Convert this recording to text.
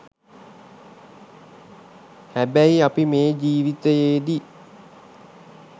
හැබැයි අපි මේ ජීවිතයේදී